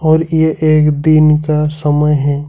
और यह एक दिन का समय है।